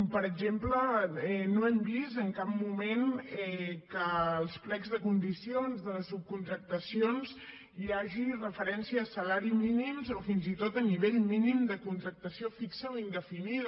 per exemple no hem vist en cap moment que als plecs de condicions de les subcontractacions hi hagi referències a salari mínim o fins i tot a nivell mínim de contractació fixa o indefinida